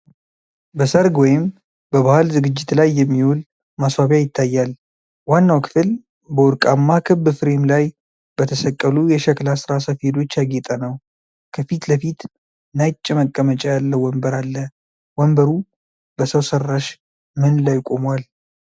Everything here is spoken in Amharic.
በሠርግ ወይም በባህል ዝግጅት ላይ የሚውል ማስዋቢያ ይታያል። ዋናው ክፍል በወርቃማ ክብ ፍሬም ላይ በተሰቀሉ የሸክላ ሥራ ሰፌዶች ያጌጠ ነው። ከፊት ለፊት ነጭ መቀመጫ ያለው ወንበር አለ። ወንበሩ በሰው ሰራሽ ምን ላይ ቆሟል?